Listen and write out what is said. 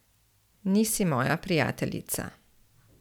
Nisi moja prijateljica.